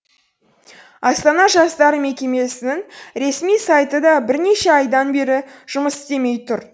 астана жастары мекемесінің ресми сайты да бірнеше айдан бері жұмыс істемей тұр